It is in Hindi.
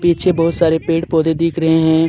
पीछे बहुत सारे पेड़ पौधे दिख रहे हैं।